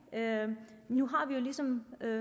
nu har vi ligesom